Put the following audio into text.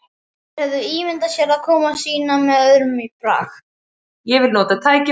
Þeir höfðu ímyndað sér komu sína með öðrum brag.